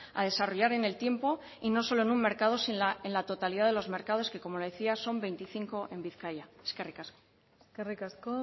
a desarrollar en el tiempo y no solo en un mercado sino en la totalidad de los mercados que como le decía son veinticinco en bizkaia eskerrik asko eskerrik asko